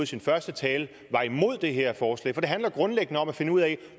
sin første tale var imod det her forslag for det handler grundlæggende om at finde ud af